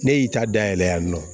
Ne y'i ta dayɛlɛ yan nɔ